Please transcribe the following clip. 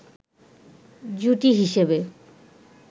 জুটি হিসেবে